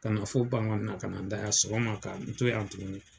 Ka na fo Bangɔni na ka na n da yan. Sɔgɔma ka n to yan tuguni .